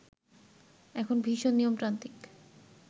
এখন ভীষণ নিয়মতান্ত্রিক